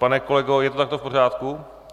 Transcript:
Pane kolego, je to takto v pořádku?